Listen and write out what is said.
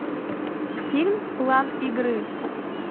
фильм план игры